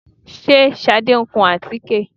Ṣé Ṣadé ń kun àtíkè?